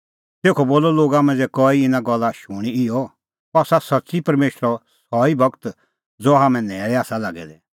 तेखअ बोलअ लोगा मांझ़ै कई इना गल्ला शूणीं इहअ अह आसा सच्च़ी परमेशरो सह ई गूर ज़हा हाम्हैं न्हैल़ै आसा लागै दै